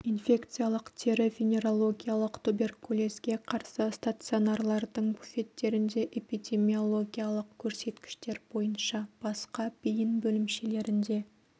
инфекциялық тері-венерологиялық туберкулезге қарсы стационарлардың буфеттерінде эпидемиологиялық көрсеткіштер бойынша басқа бейін бөлімшелерінде